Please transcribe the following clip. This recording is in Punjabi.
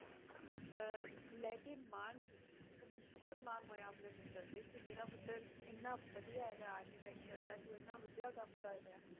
ਅਹ ਲੈ ਕੇ ਮਾਣ ਸੀ, ਉਹਨੂੰ ਬਹੁਤ ਮਾਣ ਹੋਇਆ ਆਪਣੇ ਪੁੱਤਰ ਤੇ ਕਿ ਮੇਰਾ ਪੁੱਤਰ ਇੰਨਾ ਵਧੀਆ ਹੈਗਾ architecture ਹੈ ਜੋ ਇੰਨਾ ਵਧੀਆ ਕੰਮ ਕਰ ਰਿਹਾ।